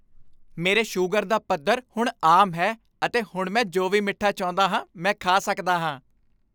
ਮੇਰੇ ਸ਼ੂਗਰ ਦਾ ਪੱਧਰ ਹੁਣ ਆਮ ਹੈ ਅਤੇ ਹੁਣ ਮੈਂ ਜੋ ਵੀ ਮਿੱਠਾ ਚਾਹੁੰਦਾ ਹਾਂ ਮੈਂ ਖਾ ਸਕਦਾ ਹਾਂ।